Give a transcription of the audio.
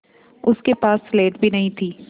उसके पास स्लेट भी नहीं थी